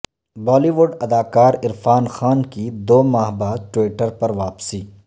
بالی would اداکار عرفان خان کی دو ماہ بعد ٹوئٹر پر واپسی